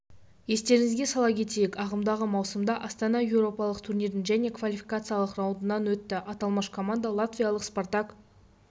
естеріңізге сала кетейік ағымдағы маусымда астана еуропалық турнирдің және квалификациялық раундынан өтті аталмыш команда латвиялық спартак